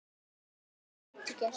Ég get lítið gert.